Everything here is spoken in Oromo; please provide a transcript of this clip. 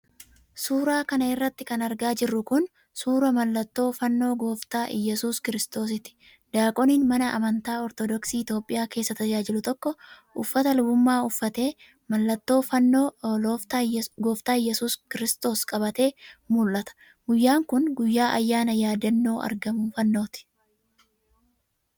Suura kana irratti kan argaa jirru kun, suura mallattoo fannoo Gooftaa Iyyasuus Kiiristoositi. Daaqoniin mana amantaa Ortodooksii Itoophiyaa keessa tajaajilu tokko, uffata lubummaa uffatee, mallattoo fannoo Iooftaa Iyyasuus Kiristoos qabatee mul'ata. Guyyaan kun, guyyaa ayyaana yaadannoo argamuu fannooti.